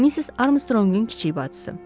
Missis Armstrongun kiçik bacısı.